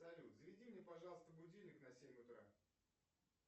салют заведи мне пожалуйста будильник на семь утра